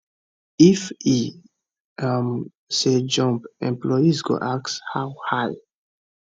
if e um say jump employees go ask how high